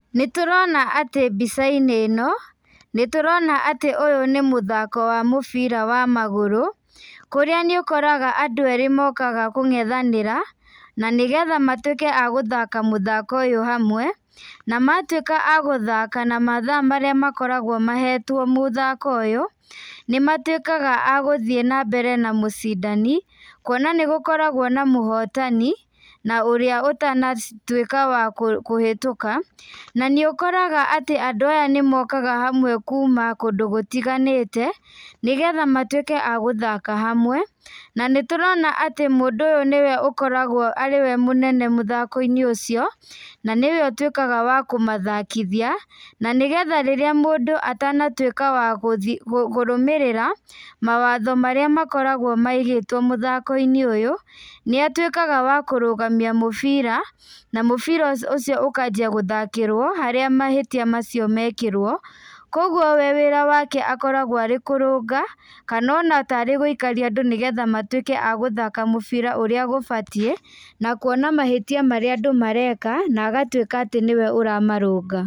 Nĩtũrona atĩ mbicainĩ ĩno, nĩtũrona atĩ ũyũ nĩ mũthako wa mũbira wa magũrũ, kũrĩa nĩũkoraga andũ erĩ mokaga kũngethanĩra, na nĩgetha matuĩke a gũthaka mũthako ũyũ hamwe, namatuĩka agũthaka na mathaa marĩa makoragwo mahetwo mothako ũyũ, nĩmatuĩkaga a gũthiĩ nambere na mũcindani, kuona nĩgũkoragwo na mũhotani, na ũrĩa ũtana ci tuĩka wa kũ kũhĩtũka, na nĩ ũkoraga atĩ andũ aya nĩmokaga hamwe kuma kũndũ gũtiganĩte, nĩgetha matuĩke a gũthaka hamwe, na nĩtũrona atĩ mũndũ ũyũ nĩwe ũkoragwo arĩ we mũnene mũthakoinĩ ũcio, na nĩwe ũtuĩkaga wa kũmathakithia, na nĩgetha rĩrĩa mũndũ atanatuĩka wa gũthiĩ wa kũrũmĩrĩra, mawatho marĩa makoragwo maigĩtwo mũthakoinĩ ũyũ, nĩatuĩkaga wa kũrũgamia mũbira, na mũbira ũcio ũkanjia gũthakĩrwo harĩa mahĩtia macio mekĩrwo, koguo we wĩra wake akoragwo arĩ kũrũnga, kana ona tarĩ gũikaria andũ nĩgetha matuĩke a gũthaka mũbira ũrĩa gũbatie, na kuona mahĩtia marĩa andũ mareka, na agatuĩka atĩ nĩwe ũramarũnga.